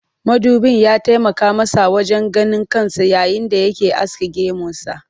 Mudubin ya taimaka masa wajen ganin kansa yayin da yake aske gemunsa